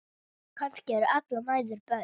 Kannski eru allar mæður börn.